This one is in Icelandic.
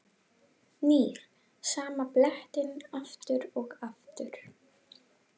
Nýr sama blettinn aftur og aftur.